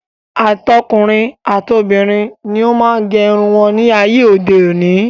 Àtọkùnrin, àtobìnrin ni ó má ń gẹ irun ní ayé òde òní.